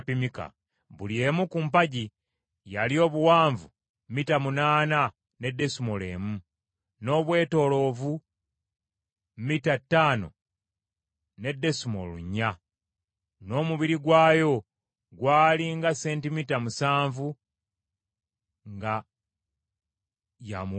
Buli emu ku mpagi yali obuwanvu mita munaana ne desimoolo emu; n’obwetoolovu mita ttaano ne desimoolo nnya; n’omubiri gwayo gwali nga sentimita musanvu nga yamuwuluka.